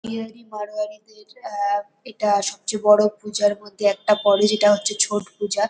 বিহারি মাড়োয়াড়িদের আ এটা সবচেয়ে বড়ো পূজার মধ্যে একটা পরে যেটা হচ্ছে ছট পূজা।